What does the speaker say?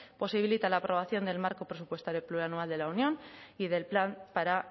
posibilita la aprobación del marco presupuestario plurianual de la unión y del plan para